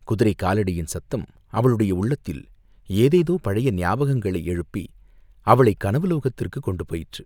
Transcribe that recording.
குதிரைக் காலடியின் சத்தம் அவளுடைய உள்ளத்தில் ஏதேதோ பழைய ஞாபகங்களை எழுப்பி அவளைக் கனவு லோகத்திர்க்குக் கொண்டு போயிற்று.